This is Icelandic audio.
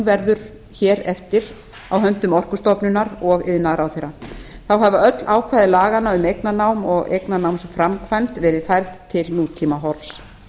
verður hér eftir á höndum orkustofnunar og iðnaðarráðherra þá hafa öll ákvæði laganna um eignarnám og eignarnámsframkvæmd verið færð til nútímahorfs